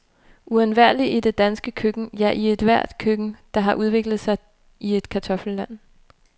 Uundværlig i det danske køkken, ja i ethvert køkken, der har udviklet sig i et kartoffelland.